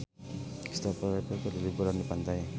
Kristopher Reeve keur liburan di pantai